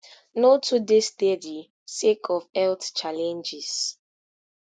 no too dey steady sake of health challenges